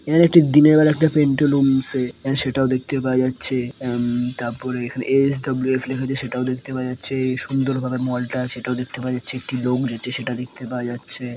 এখানে একটি দিনের বেলা একটা পিন্টুলুমছে আ- সেটাও দেখতে পাওয়া যাচ্ছে | উম তার পরে এস.ডাবলু.এস লিখেছে সেটাও দেখতে পাওয়া যাচ্ছে | সুন্দরভাবে মল -টা সেটাও দেখতে পাওয়া যাচ্ছে | একটি লোক যাচ্ছে সেটাও দেখতে পাওয়া যাচ্ছে।